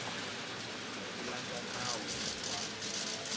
hi ku landza nawu wa